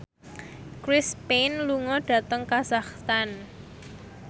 Chris Pane lunga dhateng kazakhstan